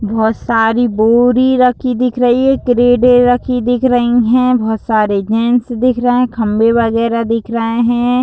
बहोत सारी बोरी रखी दिख रही हैं क्रेडे रखी दिख रही हैं बहोत सारे जेंट्स दिख रहे हैं खंबे वगैरा दिख रहे हैं।